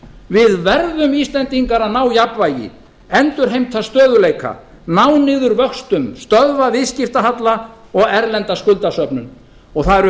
við verðum íslendingar að ná jafnvægi endurheimta stöðugleika ná niður vöxtum stöðva viðskiptahalla og erlenda skuldasöfnun og það